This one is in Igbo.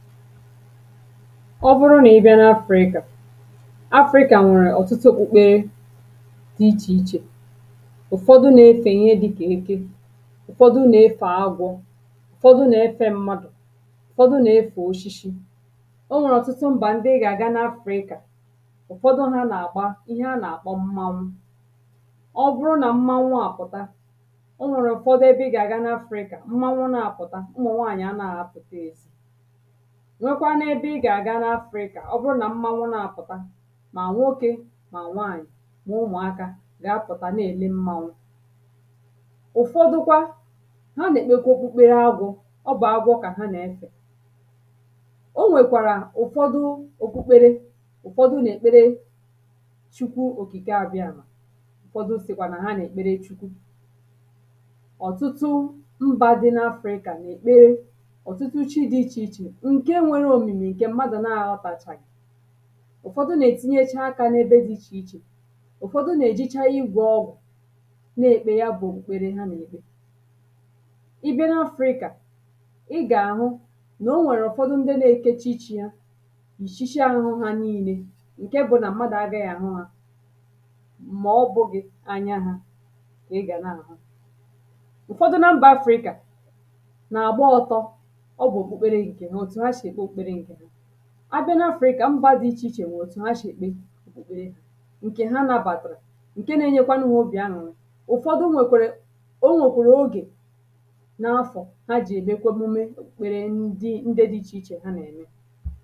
ọ bụrụ na ị bịa n’afrika afrika nwèrè ọ̀tụtụ okpukpere dị ichè ichè ụ̀fọdụ nà-efè ihe dịkà eke ụ̀fọdụ nà-efè agwọ̇ ụ̀fọdụ nà-efė mmadụ̀ ụ̀fọdụ nà-efè oshishi o nwèrè ọ̀tụtụ mbà ndị ị gà-àga n’afrika ụ̀fọdụ ha nà-àgba ihe a nà-àkpọ mmanwụ ọ bụrụ nà mmanwụ àpụ̀ta o nwèrè ụ̀fọdụ ebe ị gà-àga n’afrika mmanwụ nà-àpụ̀ta ụmụ̀ nwaànyị̀ a nà-àhụpụ̀ta nwekwaa n’ebe ị gà-aga n’afrika ọ bụrụ nà mmȧnwụ̇ na-apụ̀ta mà nwokė mà nwaànyị̀ mà ụmụ̀akȧ gà-apụ̀ta na-èle mmȧnwụ̇ ụ̀fọdụkwa ha nà-èkpekwa okpukpere agwọ̇ ọ bụ̀ agwọ kà ha na-efè o nwèkwàrà ụ̀fọdụ òkpukpere ụ̀fọdụ nà-èkpere chukwu òkìke abịa mà ụ̀fọdụ sìkwà nà ha nà-èkpere chukwu ọ̀tụtụ mbȧ dị n’afrika nà-èkpere ọ̀tụtụ uchi dị ichè ichè ụ̀fọdụ nà-ètinyeche akȧ n’ebe dị̇ ichè ichè, ụ̀fọdụ nà-èjecha igwọ̀ ọgwụ̀ na-èkpè ya bụ̀ èkpere ha nà-èkpe ị bịa n’afrika, ị gà-àhụ nà o nwèrè ụ̀fọdụ ndị na-ekecha ichė ya yìchicha àhụhụ nile ǹke bụ nà mmadụ̀ agaghị àhụ hȧ mà ọ bụ̇gị̇ anya hȧ kà ị gà na-àhụ ụ̀fọdụ na mbà afrika abịa n’afrika mba dị ichè ichè nwe otù ha shì kpe ǹkè ha nabàdụ̀rụ̀ ǹke na-enyekwa n’ubì anụ̀rụ̀ ụ̀fọdụ nwèkwèrè o nwèkwèrè ogè n’afọ̀ ha jì èmekwe omume mkpere ndị nde dị ichè ichè ha nà-ème